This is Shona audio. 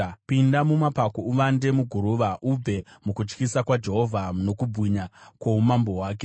Pinda mumapako, uvande muguruva, ubve mukutyisa kwaJehovha nokubwinya kwoumambo hwake!